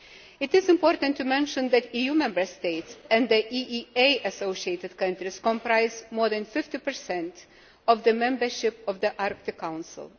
It is important to mention that EU Member States and the EEA associated countries comprise more than 50 of the membership of the Arctic Council.